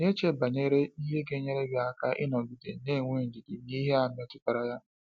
Ị na-eche banyere ihe ga enyere gị aka ị nọgide na-enwe ndidi n’ihe a metụtara ya?